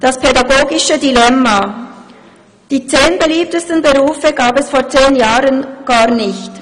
«Das pädagogische Dilemma: Die zehn beliebtesten Berufe gab es vor zehn Jahren gar nicht.